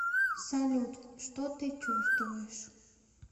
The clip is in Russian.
салют что ты чувствуешь